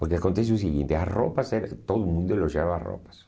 Porque acontece o seguinte, as roupas, eh todo mundo elogiava as roupas.